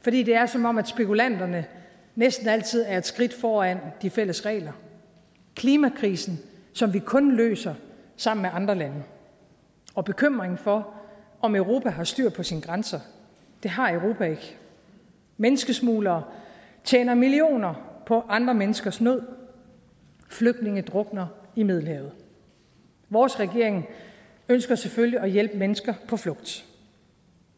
fordi det er som om spekulanterne næsten altid er et skridt foran de fælles regler klimakrisen som vi kun løser sammen med andre lande og bekymringen for om europa har styr på sine grænser det har europa ikke menneskesmuglere tjener millioner på andre menneskers nød flygtninge drukner i middelhavet vores regering ønsker selvfølgelig at hjælpe mennesker på flugt